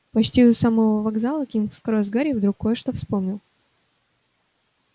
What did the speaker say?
почти у самого вокзала кингс-кросс гарри вдруг кое-что вспомнил